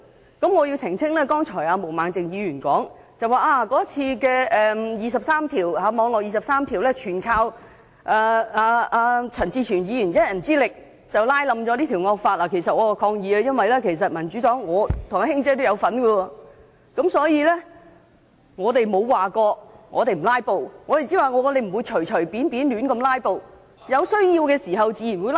有一點我要澄清，毛孟靜議員剛才說"網絡廿三條"一役，全靠陳志全議員以一人之力拉倒整項惡法，對此我要抗議，其實民主黨的"卿姐"和我都有份參與，所以我們沒有說不"拉布"，只是說不會隨便胡亂"拉布"，而且有需要時自然會"拉布"。